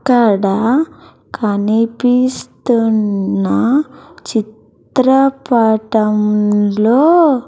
ఇక్కడ కనిపిస్తున్న చిత్రపటంలో.